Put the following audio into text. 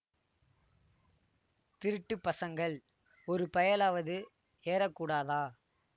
திருட்டு பசங்கள் ஒரு பயலாவது ஏறக்கூடாதா